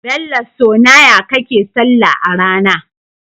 Bello so naya kake sallah arAna?